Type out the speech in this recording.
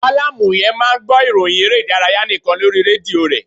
Mallam yen máà ń gbọ́ ìròhìn eré ìdárayá nikan lórí rédíò re.